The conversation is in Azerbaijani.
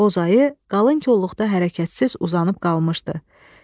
Boz ayı qalın kolluqda hərəkətsiz uzanıb qalmışdı.